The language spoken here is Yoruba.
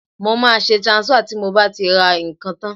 Mo máa ṣe transfer tí mo bá ti ra ǹkan tán